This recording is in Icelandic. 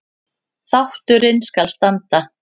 Þátturinn skal standa